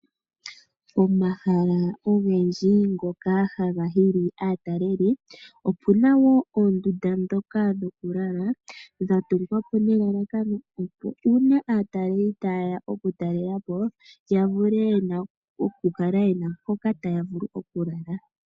Pomahala ogendji ngoka haga hili aataleli opuna woo oondunda ndhoka dhoku lala dha tungwa po nelalakano opo uuna aataleli ta yeya oku talelapo ya vule okukala yena mpoka taya vulu okulala.